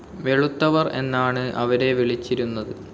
വെളുത്തവർ എന്നാണ് അവരെ വിളിച്ചിരുന്നത്.